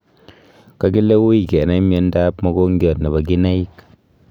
Kakile uui kenai miondo ab mogongiat nebo kinaik